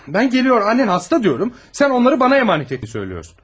Ben geliyor, annen hasta diyorum, sen onları bana emanet et diyorsun.